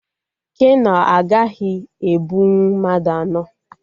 Keno a agaghị ebunwu mmadụ anọ